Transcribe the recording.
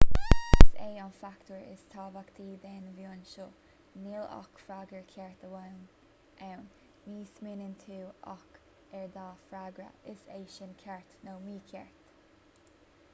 is é an fachtóir is tábhachtaí den mheon seo níl ach freagra ceart amháin ann ní smaoiníonn tú ach ar dhá fhreagra is é sin ceart nó mícheart